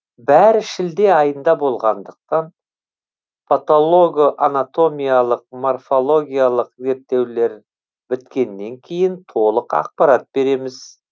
бәрі шілде айында болғандықтан патолого анатомиялық морфологиялық зерттеулер біткеннен кейін толық ақпарат береміз